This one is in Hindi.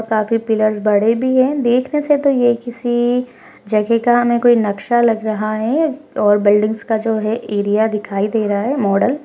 काफी पिल्लर्स बड़े भी हैं देखने से तो ये किसी जगह का न कोई नक्शा लग रहा है और बिल्डिंग्स का जो है एरिया दिखाई दे रहा है मॉडल --